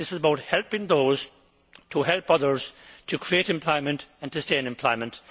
This is about helping those to help others to create employment and to stay in employment.